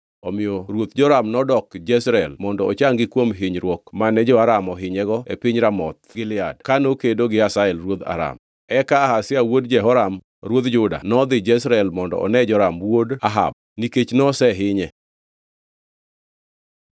omiyo ruoth Joram nodok Jezreel mondo ochangi kuom hinyruok mane jo-Aram ohinyego e piny Ramoth ka nokedo gi Hazael ruodh Aram. Eka Ahazia wuod Jehoram ruodh Juda nodhi Jezreel mondo one Joram wuod Ahab nikech nosehinye.